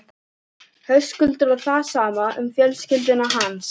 Höskuldur: Og það sama um fjölskyldu hans?